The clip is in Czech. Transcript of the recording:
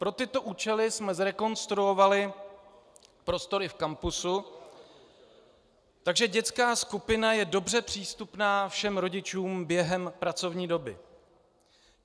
Pro tyto účely jsme zrekonstruovali prostory v kampusu, takže dětská skupina je dobře přístupná všem rodičům během pracovní doby.